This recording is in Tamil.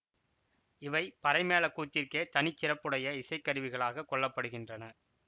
இவை பறைமேள கூத்திற்கே தனிச்சிறப்புடைய இசைக்கருவிகளாகக் கொள்ள படுகின்றன